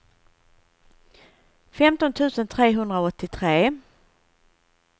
femton tusen trehundraåttiotre